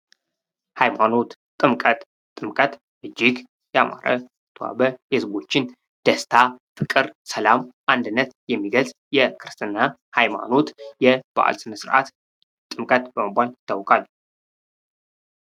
ሐይማኖት ጥምቀት ጥምቀት እጅግ ያማረ የተዋበ የህዝቦችን ደስታ ፣ፍቅር፣ ሰላም ፣አንድነት የሚገልጽ የክርስትና ሃይማኖት የበዓል ስነስረአት ጥምቀት በመባል ይታወቃል